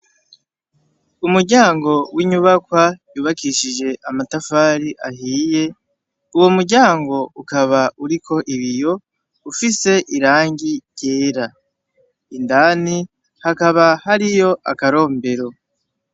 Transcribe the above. Umuryango w'inyubakwa yubakishije amatafari ahiye, uwo muryango ukaba uriko ibiyo, ufise irangi ryera. Indani hakaba hariyo akarombero.